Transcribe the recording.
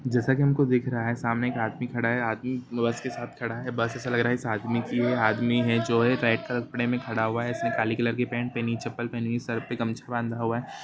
जैसा की हमको दिख रहा है सामने एक आदमी खड़ा है आदमी बस के साथ खड़ा है बस ऐसा लग रहा है की आदमी की है आदमी जो है रेड कपडे में खड़ा हुआ है इसने काले कलर की पेंट पहनी हुई है नीचे चप्पल पहनी हुई है सर पे गमछा बंधा हुआ है।